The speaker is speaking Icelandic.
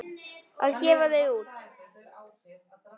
Að gefa þau út!